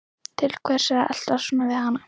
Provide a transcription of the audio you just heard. Til hvers er ég að eltast svona við hana?